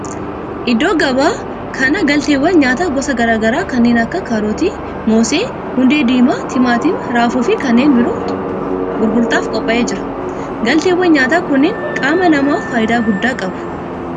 Iddoo gabaa kana galteewwan nyaataa gosa garaa garaa kanneen akka kaarotii, moosee, hundee diimaa, timaatima, raafuu fi kanneen birootu gurgurtaaf qophaa'ee jira. galteewwan nyaataa kunneen qaama namaaf faayidaa guddaa qabu.